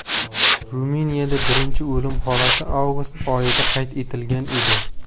Ruminiyada birinchi o‘lim holati avgust oyida qayd etilgan edi.